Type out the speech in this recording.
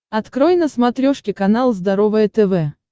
открой на смотрешке канал здоровое тв